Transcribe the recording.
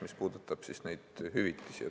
See puudutab neid hüvitisi.